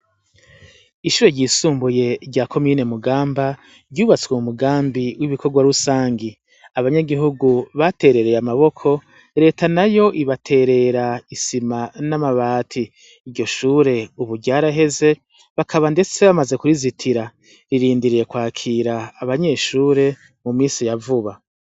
Ishure ryisumbuye rya komine Mugamba ryubatswe mu mugambi w'ibikorwa rusangi. Abanyagihugu baterereye amaboko, reta nayo ibaterera isima n'amabati. Iryo shure ubu ryaraheze, bakaba ndetse bamaze kurizitira. Ririndiriye kwakira abanyeshure mu misi ya vuba.